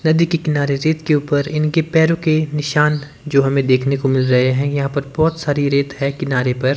नदी के किनारे रेत के ऊपर इनकी पैरों के निशान जो हमें देखने को मिल रहे हैं यहां पर बहोत सारी रेत है किनारे पर।